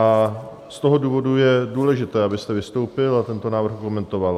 A z toho důvodu je důležité, abyste vystoupil a tento návrh okomentoval.